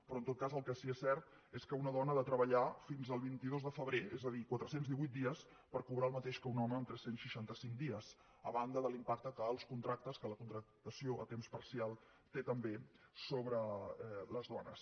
però en tot cas el que sí que és cert és que una dona ha de treballar fins al vint dos de febrer és a dir quatre cents i divuit dies per cobrar el mateix que un home en tres cents i seixanta cinc dies a banda de l’impacte que els contractes que la contractació a temps parcial té també sobre les dones